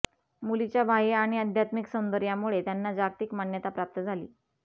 मुलीच्या बाह्य आणि आध्यात्मिक सौंदर्यामुळे त्यांना जागतिक मान्यता प्राप्त झाली